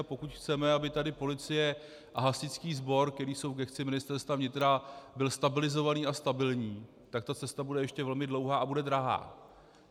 A pokud chceme, aby tady policie a hasičský sbor, které jsou v gesci Ministerstva vnitra, byly stabilizované a stabilní, tak ta cesta bude ještě velmi dlouhá a bude drahá.